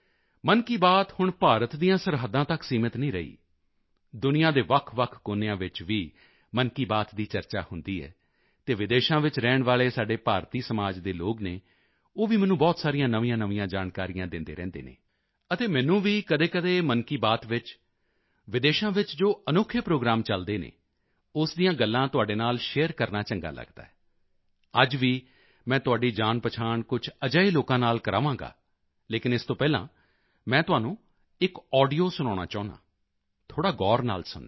ਮਨ ਕੀ ਬਾਤ ਹੁਣ ਭਾਰਤ ਦੀਆਂ ਸਰਹੱਦਾਂ ਤੱਕ ਸੀਮਿਤ ਨਹੀਂ ਰਹੀ ਦੁਨੀਆ ਦੇ ਵੱਖਵੱਖ ਕੋਨਿਆਂ ਵਿੱਚ ਵੀ ਮਨ ਕੀ ਬਾਤ ਦੀ ਚਰਚਾ ਹੁੰਦੀ ਹੈ ਅਤੇ ਵਿਦੇਸ਼ਾਂ ਵਿੱਚ ਰਹਿਣ ਵਾਲੇ ਸਾਡੇ ਭਾਰਤੀ ਸਮਾਜ ਦੇ ਲੋਕ ਹਨ ਉਹ ਵੀ ਮੈਨੂੰ ਬਹੁਤ ਸਾਰੀਆਂ ਨਵੀਆਂਨਵੀਆਂ ਜਾਣਕਾਰੀਆਂ ਦਿੰਦੇ ਰਹਿੰਦੇ ਹਨ ਅਤੇ ਮੈਨੂੰ ਵੀ ਕਦੇਕਦੇ ਮਨ ਕੀ ਬਾਤ ਵਿੱਚ ਵਿਦੇਸ਼ਾਂ ਵਿੱਚ ਜੋ ਅਨੋਖੇ ਪ੍ਰੋਗਰਾਮ ਚਲਦੇ ਹਨ ਉਸ ਦੀਆਂ ਗੱਲਾਂ ਤੁਹਾਡੇ ਨਾਲ ਸ਼ੇਅਰ ਕਰਨਾ ਚੰਗਾ ਲਗਦਾ ਹੈ ਅੱਜ ਵੀ ਮੈਂ ਤੁਹਾਡੀ ਜਾਣਪਛਾਣ ਕੁਝ ਅਜਿਹੇ ਲੋਕਾਂ ਨਾਲ ਕਰਵਾਵਾਂਗਾ ਲੇਕਿਨ ਇਸ ਤੋਂ ਪਹਿਲਾਂ ਮੈਂ ਤੁਹਾਨੂੰ ਇੱਕ ਆਡੀਓ ਸੁਣਾਉਣਾ ਚਾਹੁੰਦਾ ਹਾਂ ਥੋੜ੍ਹਾ ਗੌਰ ਨਾਲ ਸੁਣਨਾ